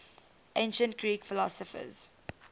ancient greek philosophers